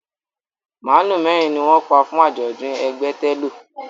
Màálù mẹ́rin ni wọ́n pa fún àjọ̀dún ẹgbẹ́ ẹ télọ̀